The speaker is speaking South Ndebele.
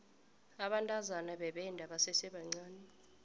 abantazana bebenda basesebancani